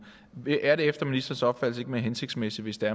er det efter ministerens opfattelse ikke mere hensigtsmæssigt hvis det